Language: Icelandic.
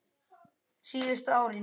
Síðustu árin